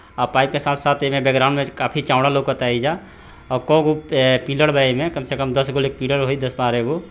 और पाइप के साथ साथ एमे बैकग्राउंड में काफी चौड़ा और केगो पिलड़ बा एमे कम से कम दसगो पिलड़ होय दस बारागो।